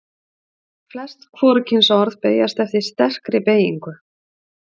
Flest hvorugkynsorð beygjast eftir sterkri beygingu.